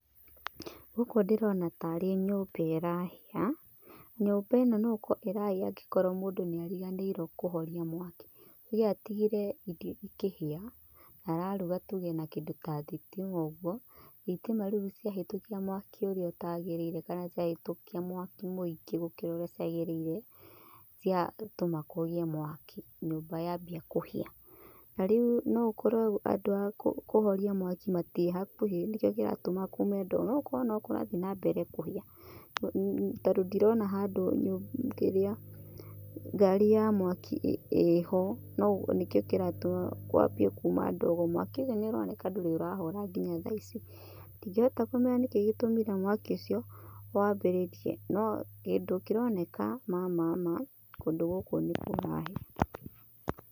Gũkũ ndĩrona tarĩ nyũmba ĩrahĩa. Nyũmba ĩno no gũkorwo ĩrahĩa tondũ ta rĩngĩ mũndũ nĩ ariganĩirwo kũhoria mwaki. Ringĩ atigire irio ikĩhĩa, na araruga tuge na kĩndũ ta thitima ũguo, thitima rĩu ciahĩtũkia mwaki ũria wagĩrĩire kana ciahĩtũkia mwaki muingĩ gũkĩra ũrĩa ciagĩrĩire, ciatũma kũgie mwaki nyũmba yambia kũhĩa. Na rĩu no gũkorwo andũ a kũhoria mwaki matirĩ hakuhĩ nĩkĩo kĩratũma kume ndogo, no gũkorwo no kũrathiĩ na mbere kũhĩa. Tondũ ndirona handũ ngaarĩ ya mwaki ĩho no nĩkĩo kĩratũma kwambie kuma ndogo. Mwaki ũcio nĩ ũroneka ndũrĩ ũrahora nginya tha ici. Ndingĩhota kũmenya nĩkĩ gĩtũmire mwaki ũcio wambĩririe no kĩndũ kĩroneka ma ma ma, kũndũ gũkũ nĩ kũrahĩa.